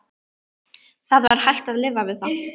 Það var hægt að lifa við það.